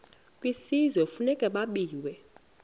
kwisizwe kufuneka zabiwe